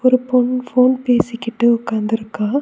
ஒரு பொண் ஃபோன் பேசிக்கிட்டு உக்காந்துருக்கா.